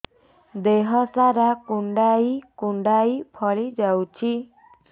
ଦେହ ସାରା କୁଣ୍ଡାଇ କୁଣ୍ଡାଇ ଫଳି ଯାଉଛି